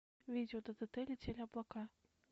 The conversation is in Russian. видео ддт летели облака